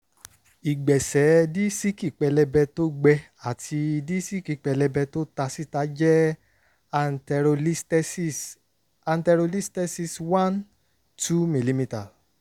ìgbẹ̀sẹ̀ díísíkì pẹlẹbẹ tó gbẹ àti díísíkì pẹlẹbẹ tó ta síta jẹ anterolisthesis anterolisthesis one - two mm